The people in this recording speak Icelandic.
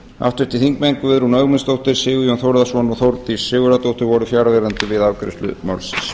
háttvirtur þingmaður guðrún ögmundsdóttir sigurjón þórðarson og þórdís sigurðardóttir voru fjarverandi við afgreiðslu málsins